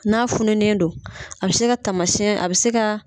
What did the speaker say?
N'a fununen don , a bɛ se ka tamasiɲɛ a bɛ se ka